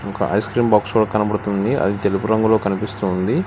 ఒక ice cream box కనబడుతుంది అది తెలుపు రంగులో కనిపిస్తుంది.